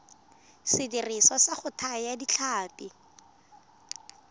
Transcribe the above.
sediriswa sa go thaya ditlhapi